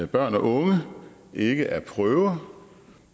børn og unge ikke er prøver